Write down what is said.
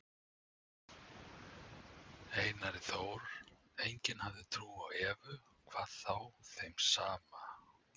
Einari Þór, enginn hafði trú á Evu, hvað þá þeim saman.